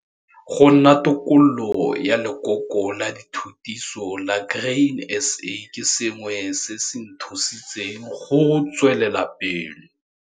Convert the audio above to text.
Go nna tokololo ya lekoko la dithutiso la Grain SA ke sengwe se se nthusitseng go tswelela pele.